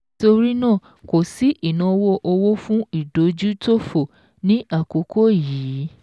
Nítorí náà kò sí ìnáwó owó fún ìdójútòfò ní àkókò yìí.